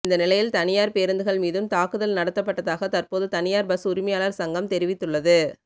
இந்த நிலையில் தனியார் பேருந்துகள் மீதும் தாக்குதல் நடத்தப்பட்டதாக தற்போது தனியார் பஸ் உரிமையாளர் சங்கம் தெரிவித்துள்ளது